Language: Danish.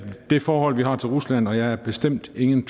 det forhold vi har til rusland og jeg er bestemt ingen